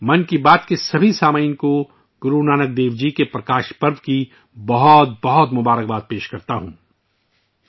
میں ' من کی بات 'کے تمام سننے والوں کو گرو نانک دیو جی کے ' پرکاش پرو ' پر اپنی نیک خواہشات پیش کرتا ہوں